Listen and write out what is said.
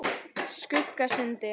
Skuggasundi